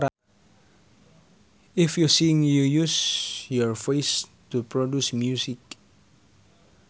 If you sing you use your voice to produce music